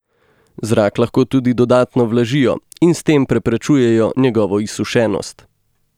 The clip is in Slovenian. Zrak lahko tudi dodatno vlažijo in s tem preprečujejo njegovo izsušenost.